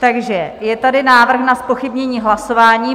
Takže je tady návrh na zpochybnění hlasování.